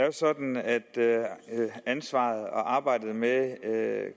jo sådan at ansvaret for og arbejdet med med